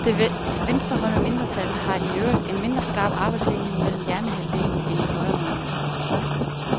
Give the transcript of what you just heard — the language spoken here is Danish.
Det venstrehåndede mindretal har i øvrigt en mindre skarp arbejdsdeling mellem hjernehalvdelene, end de højrehåndede.